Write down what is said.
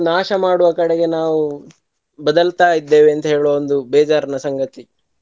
ನಾಶ ಮಾಡುವ ಕೆಡೆಗೆ ನಾವು ಬದಲ್ತಾ ಇದ್ದೇವೆ ಅಂತ ಹೇಳುವ ಒಂದು ಬೇಜಾರಿನ ಸಂಗತಿ.